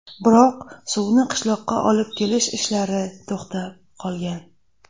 Biroq, suvni qishloqqa olib kelish ishlari to‘xtab qolgan.